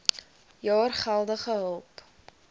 jaar geldelike hulp